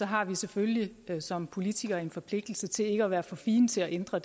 har vi selvfølgelig som politikere en forpligtelse til ikke at være for fine til at ændre